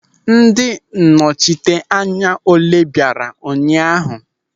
Ndị nnọchiteanya ole bịara ụnyaahụ?